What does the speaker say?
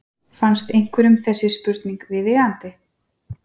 Finnst einhverjum þessi spurning viðeigandi?